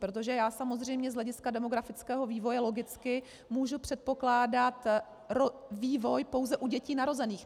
Protože já samozřejmě z hlediska demografického vývoje logicky můžu předpokládat vývoj pouze u dětí narozených.